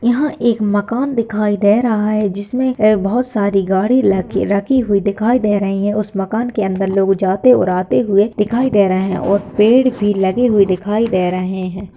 यहाँ एक मकान दिखाई दे रहा है जिसमे ऐ बहुत सारी गाड़ी लगी रखी हुई दिखाई दे रही है उस मकान के अंदर लोग जाते और आते हुए दिखाई दे रहे है और पेड़ भी लगे हुए दिखाई दे रहे है।